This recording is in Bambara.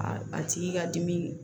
A tigi ka dimi